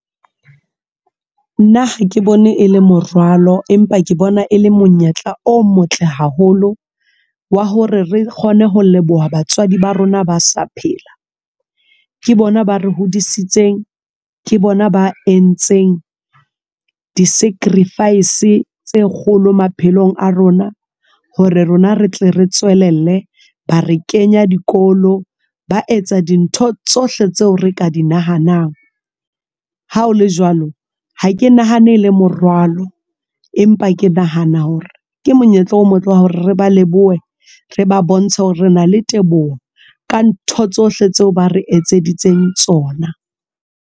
Nna ha ke bone e le morwalo empa ke bona e le monyetla o motle haholo wa hore re kgone ho leboha batswadi ba rona ba sa phela ke bona ba re hodisitseng, ke bona ba entseng di-sacrifice tse kgolo maphelong a rona. Hore rona re tle re tswelelle ba re kenya dikolo. Ba etsa dintho tsohle tseo re ka di nahanang. Ha o le jwalo ha ke nahane e le morwalo, empa ke nahana hore ke monyetla o motle wa hore re ba lebohe re ba bontsha hore re na le teboho ka ntho tsohle tseo ba re etseditseng tsona.